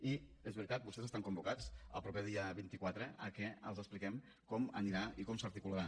i és veritat vostès estan convocats el proper dia vint quatre que els expliquem com anirà i com s’articularà